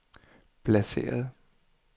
placeret